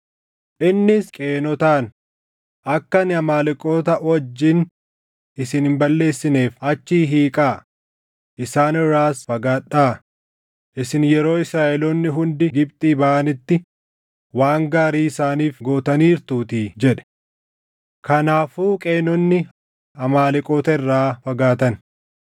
Innis Qeenotaan, “Akka ani Amaaleqoota wajjin isin hin balleessineef achi hiiqaa; isaan irraas fagaadhaa; isin yeroo Israaʼeloonni hundi Gibxii baʼanitti waan gaarii isaaniif gootaniirtuutii” jedhe. Kanaafuu Qeenonni Amaaleqoota irraa fagaatan.